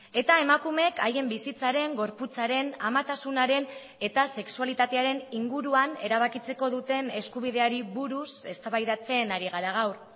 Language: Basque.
eta emakumeek haien bizitzaren gorputzaren amatasunaren eta sexualitatearen inguruan erabakitzeko duten eskubideari buruz eztabaidatzen ari gara gaur